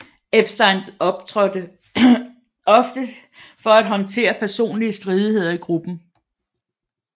Epstein trådte ofte til for at håndtere personlige stridigheder i gruppen